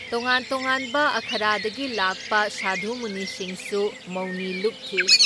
ꯇꯣꯉꯥꯟ ꯇꯣꯉꯥꯟꯕ ꯑꯥꯈꯔꯥꯗꯒꯤ ꯂꯥꯛꯄ ꯁꯥꯙꯨ ꯃꯨꯅꯤꯁꯤꯡꯁꯨ ꯃꯧꯅꯤ ꯂꯨꯞꯈꯤ ꯫